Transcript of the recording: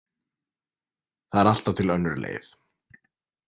Það er alltaf til önnur leið.